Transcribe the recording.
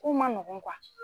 Kow ma nɔgɔn kuwa